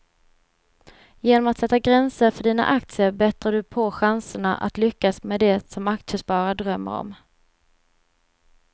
Genom att sätta gränser för dina aktier bättrar du på chanserna att lyckas med det som aktiesparare drömmer om.